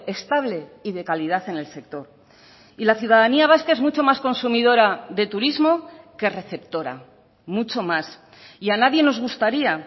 estable y de calidad en el sector y la ciudadanía vasca es mucho más consumidora de turismo que receptora mucho más y a nadie nos gustaría